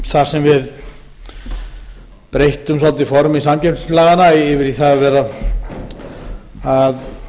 þar sem við breyttum svolítið formi samkeppnislaganna yfir í það að